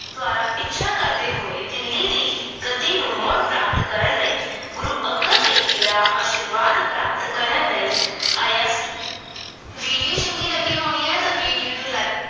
ਦੁਆਰਾ ਪਿੱਛਾ ਕਰਦੇ ਹੋਏ ਦਿੱਲੀ ਦੀ ਗੱਦੀ ਨੂੰ ਮੁੜ ਪ੍ਰਾਪਤ ਕਰਨ ਲਈ ਗੁਰੂ ਅੰਗਦ ਦੇਵ ਜੀ ਦਾ ਆਸ਼ੀਰਵਾਦ ਪ੍ਰਾਪਤ ਕਰਨ ਲਈ ਆਇਆ ਸੀ। video ਚੰਗੀ ਲੱਗੀ ਹੋਈ ਆ ਤਾਂ video ਨੂੰ like